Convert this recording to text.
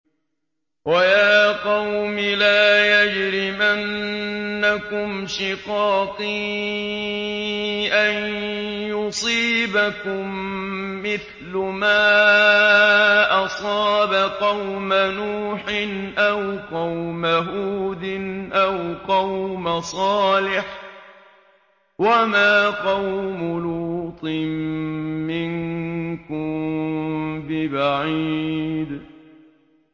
وَيَا قَوْمِ لَا يَجْرِمَنَّكُمْ شِقَاقِي أَن يُصِيبَكُم مِّثْلُ مَا أَصَابَ قَوْمَ نُوحٍ أَوْ قَوْمَ هُودٍ أَوْ قَوْمَ صَالِحٍ ۚ وَمَا قَوْمُ لُوطٍ مِّنكُم بِبَعِيدٍ